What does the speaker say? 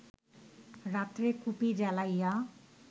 রাত্রে কুপি জ্বালাইয়া